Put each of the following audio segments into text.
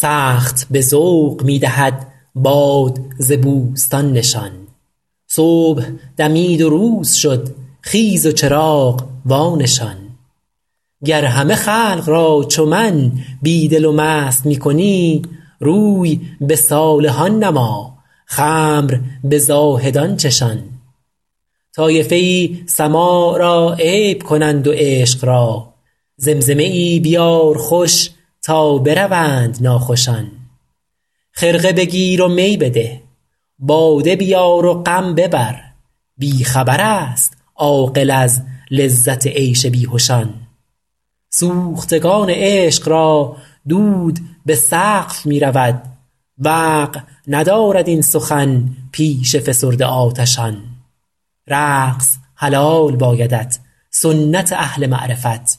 سخت به ذوق می دهد باد ز بوستان نشان صبح دمید و روز شد خیز و چراغ وانشان گر همه خلق را چو من بی دل و مست می کنی روی به صالحان نما خمر به زاهدان چشان طایفه ای سماع را عیب کنند و عشق را زمزمه ای بیار خوش تا بروند ناخوشان خرقه بگیر و می بده باده بیار و غم ببر بی خبر است عاقل از لذت عیش بیهشان سوختگان عشق را دود به سقف می رود وقع ندارد این سخن پیش فسرده آتشان رقص حلال بایدت سنت اهل معرفت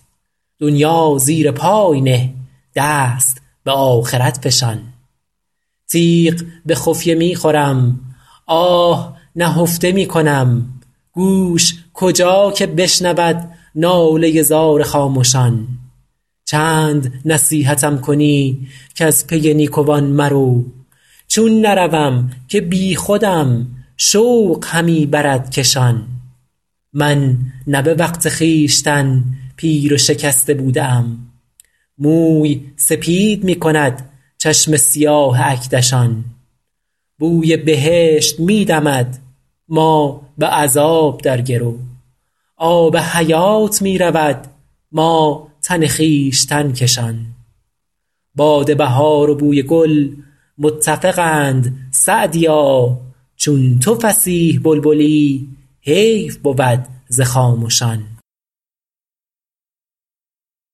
دنیا زیر پای نه دست به آخرت فشان تیغ به خفیه می خورم آه نهفته می کنم گوش کجا که بشنود ناله زار خامشان چند نصیحتم کنی کز پی نیکوان مرو چون نروم که بیخودم شوق همی برد کشان من نه به وقت خویشتن پیر و شکسته بوده ام موی سپید می کند چشم سیاه اکدشان بوی بهشت می دمد ما به عذاب در گرو آب حیات می رود ما تن خویشتن کشان باد بهار و بوی گل متفقند سعدیا چون تو فصیح بلبلی حیف بود ز خامشان